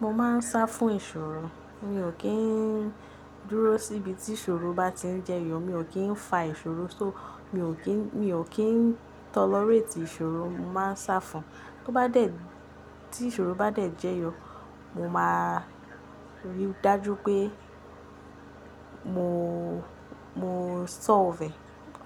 Mo máa ń sá fún ìṣòro. Mi ò kí ń dúró síbi tí ìṣòro bá ti ń jẹyọ. Mi ò kí ń fa ìṣòro só. Mi ò kí n, mi ò kí ń tolerate ìṣòro. Mo máa ń sá fún. Tobá dẹ̀, tí ìṣòro bá dẹ̀ jẹyọ, mo máa rí dájú pé mo, mo solve e.